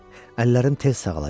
Əllərim tez sağalacaq.